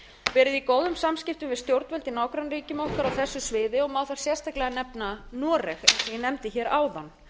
verið í góðum samskiptum við stjórnvöld í nágrannaríkjum okkar á þessu sviði má þar sérstaklega nefna noreg eins og ég nefndi hér áðan